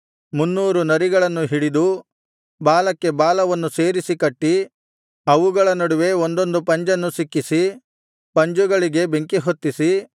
ಮುನ್ನೂರು ನರಿಗಳನ್ನು ಹಿಡಿದು ಬಾಲಕ್ಕೆ ಬಾಲವನ್ನು ಸೇರಿಸಿ ಕಟ್ಟಿ ಅವುಗಳ ನಡುವೆ ಒಂದೊಂದು ಪಂಜನ್ನು ಸಿಕ್ಕಿಸಿ ಪಂಜುಗಳಿಗೆ ಬೆಂಕಿಹೊತ್ತಿಸಿ